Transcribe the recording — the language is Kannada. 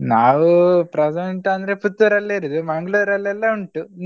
ನಾವು present ಅಂದ್ರೆ ಪುತ್ತೂರ್ ಅಲ್ಲೇ ಇರೋದು ಮಂಗಳೂರಲ್ಲೆಲ್ಲ ಉಂಟು.